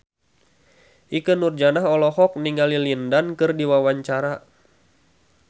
Ikke Nurjanah olohok ningali Lin Dan keur diwawancara